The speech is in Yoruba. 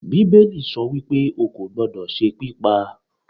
bibelí so wípe, o kọ gbódó se pipá